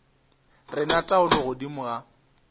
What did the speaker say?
re na taolo godimo ga